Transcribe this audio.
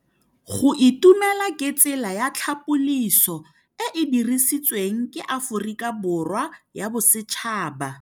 Go itumela ke tsela ya tlhapolisô e e dirisitsweng ke Aforika Borwa ya Bosetšhaba.